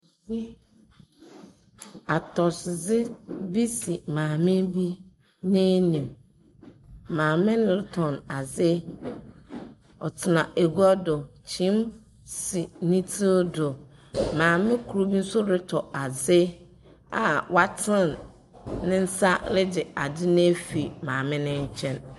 Atɔsodze bi si maame bi enim. Maame no tɔn adze. Ɔtena agua do. Kyin si ne tsir do. Maame koro bi nso retɔ adze a waten ne nsa regye adze no afiri maame no nkyɛn.